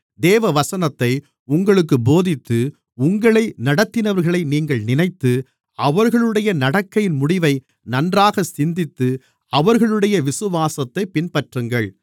தேவவசனத்தை உங்களுக்குப் போதித்து உங்களை நடத்தினவர்களை நீங்கள் நினைத்து அவர்களுடைய நடக்கையின் முடிவை நன்றாகச் சிந்தித்து அவர்களுடைய விசுவாசத்தைப் பின்பற்றுங்கள்